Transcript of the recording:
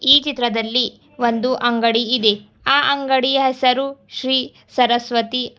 ಈ ಚಿತ್ರದಲ್ಲಿ ಒಂದು ಅಂಗಡಿ ಇದೆ ಆ ಅಂಗಡಿಯ ಹೆಸರು ಶ್ರೀ ಸರಸ್ವತಿ.